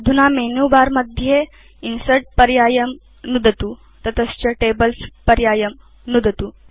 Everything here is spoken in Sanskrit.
अधुना मेनुबर मध्ये Insertपर्यायं नुदतु ततश्च Tablesपर्यायं नुदतु